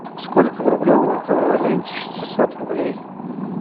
сколько в рублевом эквиваленте шестисот рублей